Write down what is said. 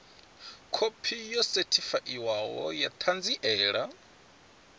khophi yo sethifaiwaho ya ṱhanziela